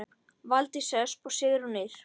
Valdís Ösp og Sigrún Ýr.